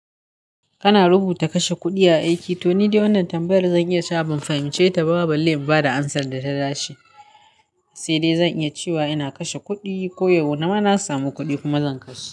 Kana rubuta kashe kuɗi a aiki? To ni dai wannan tambayar zan iya cewa ban fahimce ta ba balle na bada amsar da ta dace. Sai dai zan iya cewa ina kashe kuɗi ko yau na ma na samu kuɗi kuma zan kashe.